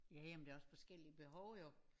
Ja ja men der er også forskellige behov jo